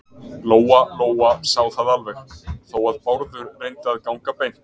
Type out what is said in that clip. Lóa-Lóa sá það alveg, þó að Bárður reyndi að ganga beint.